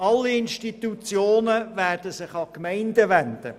Alle Institutionen werden sich an die Gemeinden wenden.